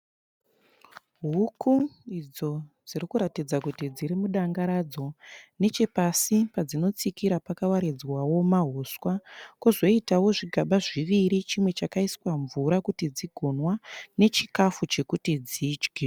Huku idzo dzirikutaridza kuti dziri mudanga radzo. Nechepasi padzinotsikira pakawaridzwawo mahuswa. Kwozoitawo zvigaba zviviri, chimwe chakaiswa mvura kuti dzigonwa, nechikafu chokuti dzidye.